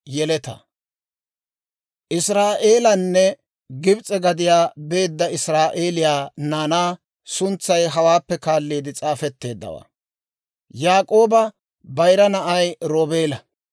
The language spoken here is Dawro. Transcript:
Israa'eelana Gibs'e gadiyaa beedda israa'eeliyaa naanaa suntsay hawaappe kaalliide s'aafetteeddawaa. Yaak'ooba bayira na'ay Roobeela;